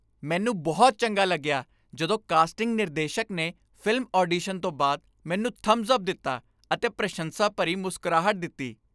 ਮੈਨੂੰ ਬਹੁਤ ਚੰਗਾ ਲੱਗਿਆ ਜਦੋਂ ਕਾਸਟਿੰਗ ਨਿਰਦੇਸ਼ਕ ਨੇ ਫ਼ਿਲਮ ਆਡੀਸ਼ਨ ਤੋਂ ਬਾਅਦ ਮੈਨੂੰ ਥੰਬਸ ਅੱਪ ਦਿੱਤਾ ਅਤੇ ਪ੍ਰਸ਼ੰਸਾ ਭਰੀ ਮੁਸਕਰਾਹਟ ਦਿੱਤੀ।